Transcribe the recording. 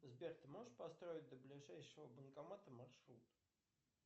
сбер ты можешь построить до ближайшего банкомата маршрут